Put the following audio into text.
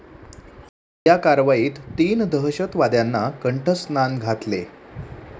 या कारवाईत तीन दहशतवाद्यांना कंठस्नान घातले.